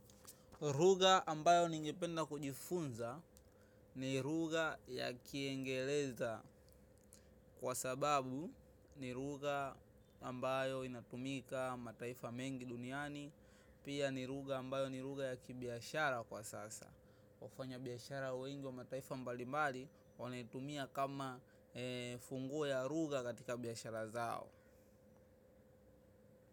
Ruga ambayo ningependa kujifunza, ni ruga ya kiingeleza, kwa sababu ni ruga ambayo inatumika mataifa mengi duniani. Pia ni ruga ambayo ni ruga ya kibiashara kwa sasa. Wafanyabiashara wengi wa mataifa mbalimbali wanaitumia kama funguo ya ruga katika biashara zao.